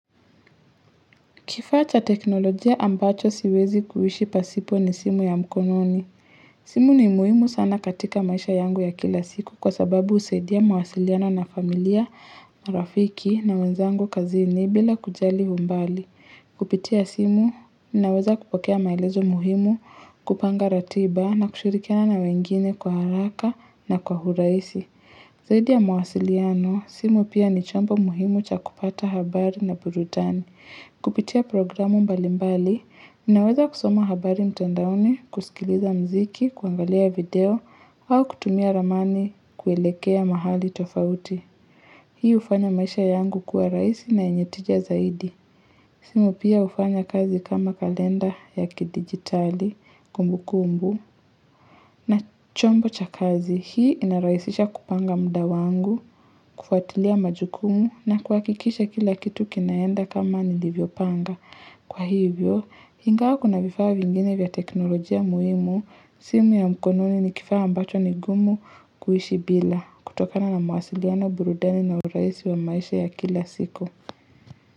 Kifaa cha teknolojia ambacho siwezi kuishi pasipo ni simu ya mkononi. Simu ni muhimu sana katika maisha yangu ya kila siku kwa sababu husaidia mawasiliano na familia, rafiki na wenzangu kazini bila kujali umbali. Kupitia simu, ninaweza kupokea maelezo muhimu kupanga ratiba na kushirikiana na wengine kwa haraka na kwa urahisi. Zaidi ya mawasiliano, simu pia ni chombo muhimu cha kupata habari na burudani. Kupitia programu mbali mbali, ninaweza kusoma habari mtandaoni, kusikiliza mziki, kuangalia video, au kutumia ramani kuelekea mahali tofauti. Hii hufanya maisha yangu kuwa rahisi na yenye tija zaidi. Simu pia hufanya kazi kama kalenda ya kidigitali, kumbu kumbu, na chombo cha kazi. Hii inarahisisha kupanga muda wangu, kufuatilia majukumu na kuhakikisha kila kitu kinaenda kama nilivyopanga. Kwa hivyo, ingawa kuna vifaa vingine vya teknolojia muhimu, simu ya mkononi ni kifaa ambacho ni gumu kuishi bila kutokana na mawasiliano burudani na urahisi wa maisha ya kila siku.